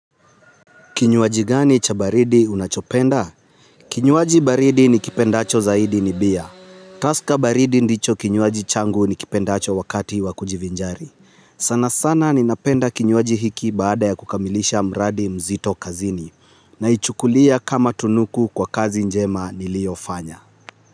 Kinywaji gani cha baridi unachopenda? Kinywaji baridi nikipendacho zaidi ni bia. Tusker baridi ndicho kinywaji changu nikipendacho wakati wakujivinjari. Sana sana ninapenda kinywaji hiki baada ya kukamilisha mradi mzito kazini. Naichukulia kama tunuku kwa kazi njema nilio fanya.